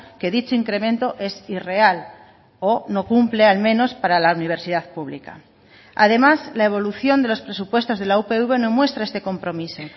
que dicho incremento es irreal o no cumple al menos para la universidad pública además la evolución de los presupuestos de la upv no muestra este compromiso